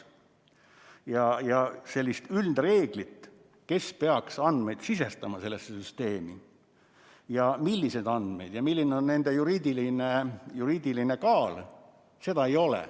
Sellist üldreeglit, kes peaks sellesse süsteemi andmeid sisestama ja milliseid andmeid ja milline on nende juriidiline kaal, ei ole.